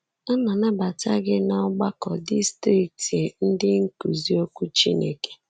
A na-anabata gi ná Ọgbakọ Distrikti Ndị Nkuzi Okwu Chineke.